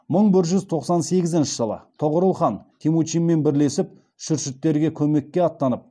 мың бір жүз тоқсан сегізінші жылы тоғорыл хан темучинмен бірлесіп шүршіттерге көмекке аттанып